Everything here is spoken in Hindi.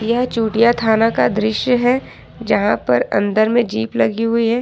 यह चोटिया थाना का दृश्य है जहां पर अंदर में जीप लगी हुई है।